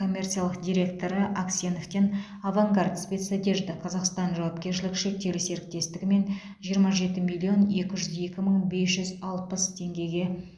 коммерциялық директоры аксеновтен авангард спецодежда казахстан жауапкершілігі шектеулі серіктестігімен жиырма жеті миллион екі жүз екі мың бес жүз алпыс теңгеге